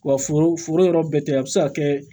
Wa foro yɔrɔ bɛɛ tɛ a bɛ se ka kɛ